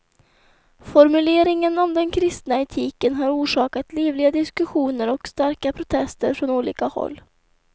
Formuleringen om den kristna etiken har orsakat livliga diskussioner och starka protester från olika håll.